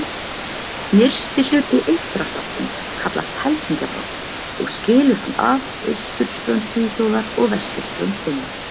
Nyrsti hluti Eystrasaltsins kallast Helsingjabotn og skilur hann að austurströnd Svíþjóðar og vesturströnd Finnlands.